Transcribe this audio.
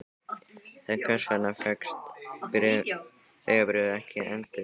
En hvers vegna fékkst vegabréfið ekki endurnýjað?